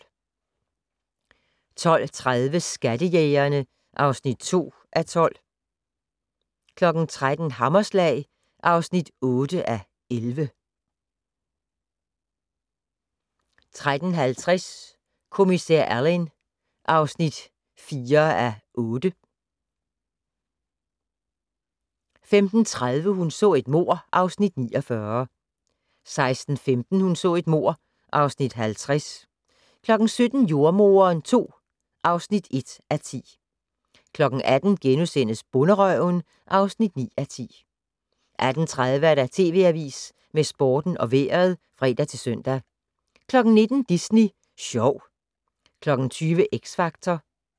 12:30: Skattejægerne (2:12) 13:00: Hammerslag (8:11) 13:50: Kommissær Alleyn (4:8) 15:30: Hun så et mord (Afs. 49) 16:15: Hun så et mord (Afs. 50) 17:00: Jordemoderen II (1:10) 18:00: Bonderøven (9:10)* 18:30: TV Avisen med Sporten og Vejret (fre-søn) 19:00: Disney Sjov 20:00: X Factor